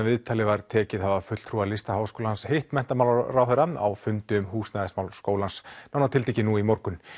viðtalið var tekið að hafa fulltrúar Listaháskólans hitt menntamálaráðherra á fundi um húsnæðismál skólans nánar tiltekið nú í morgun